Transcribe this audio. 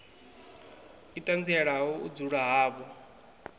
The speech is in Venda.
i ṱanzielaho u dzula havho